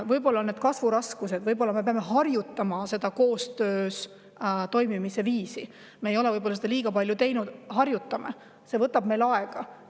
Võib-olla on need kasvuraskused, võib-olla me peame seda koostööviisi veel harjutama, me ei ole seda palju teinud, see võtab meil aega, harjutame.